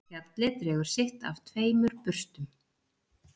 Fjallið dregur sitt af tveimur burstum